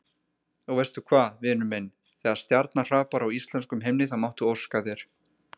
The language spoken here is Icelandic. Og veistu hvað, vinur minn, þegar stjarna hrapar á íslenskum himni þá máttu óska þér.